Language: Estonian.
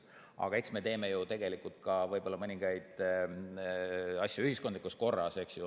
Aga eks me teeme ju mõningaid asju võib-olla ka ühiskondlikus korras.